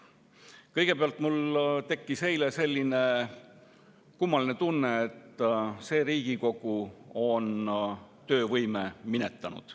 Kõigepealt, mul tekkis eile selline kummaline tunne, et see Riigikogu on töövõime minetanud.